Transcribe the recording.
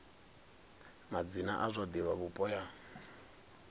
madzina a zwa divhavhupo ya